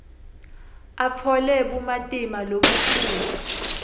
atfole bumatima lobukhulu